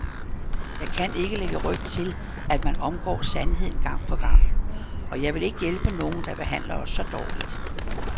Jeg kan ikke lægge ryg til, at man omgår sandheden gang på gang, og jeg vil ikke hjælpe nogen, der behandler os så dårligt.